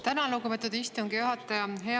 Tänan, lugupeetud istungi juhataja!